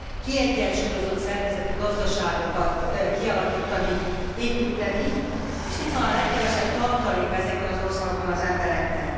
kiegyensúlyozott szerkezetű gazdaságokat kialakítani, építeni, és itt van a legkevesebb tartaléka, ezekben az országokban az embereknek.